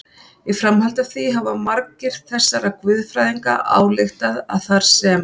Í framhaldi af því hafa margir þessara guðfræðinga ályktað að þar sem